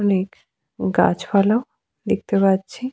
অনেক গাছ পালাও দেখতে পাচ্ছি ।